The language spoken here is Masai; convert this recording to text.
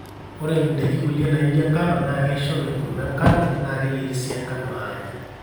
ore indaiki kulie naijo enkano na keishoru enkuruma enkano na keyieri sii enkano anya